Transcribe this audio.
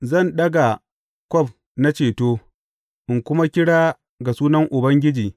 Zan daga kwaf na ceto in kuma kira ga sunan Ubangiji.